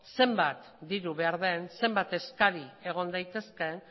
zenbat diru behar den zenbat eskari egon daitezkeen